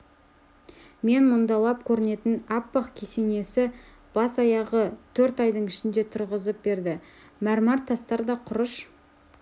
мен мұндалап көрінетін аппақ кесенені бас-аяғы төрт айдың ішінде тұрғызып берді мәрмәр тастар да құрыш